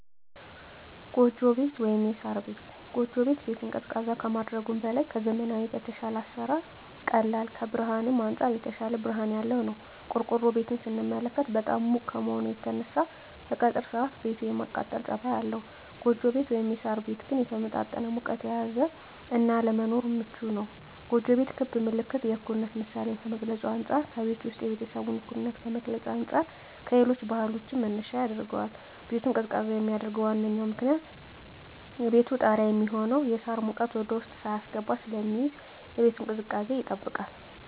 ጎጆ ቤት(ሳር ቤት)። ጎጆ ቤት ቤትን ቀዝቃዛ ከማድረጉም በላይ ከዘመናዊዉ በተሻለ ለአሰራር ቀላል ከብርሀንም አንፃር የተሻለ ብርሀን ያለዉ ነዉ። ቆርቆሮ ቤትን ስንመለከት በጣም ሙቅ ከመሆኑ የተነሳ በቀትር ሰአት ቤቱ የማቃጠል ፀባይ አለዉ ጎጆ ቤት (ሳር ቤት) ግን የተመጣጠነ ሙቀትን የያዘ እና ለመኖርም ምቹ ነዉ። ጎጆ ቤት ክብ ምልክት የእኩልነት ምሳሌን ከመግልፁ አንፃ ከቤቱ ዉስጥ የቤተሰቡን እኩልነት ከመግለፅ አንፃር ለሌሎች ባህሎችም መነሻ ያደርገዋል። ቤቱን ቀዝቃዛ የሚያደርገዉ ዋነኛዉ ምክንያት ከቤቱ ጣሪያ የሚሆነዉ የሳር ሙቀት ወደዉስጥ ሳይስገባ ስለሚይዝ የቤቱን ቅዝቃዜ ይጠብቃል።